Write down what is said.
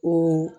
O